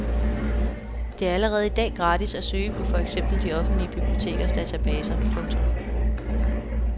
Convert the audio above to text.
Det er allerede i dag gratis at søge på for eksempel de offentlige bibliotekers databaser. punktum